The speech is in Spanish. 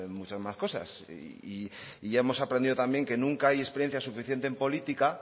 muchas más cosas y ya hemos aprendido también que nunca hay experiencia suficiente en política